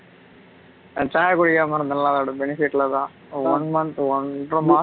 நா சாயா குடிக்காம இருந்தேன்ல அதோட benefit ல தான் one month ஒன்றமாசம்